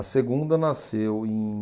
A segunda nasceu em...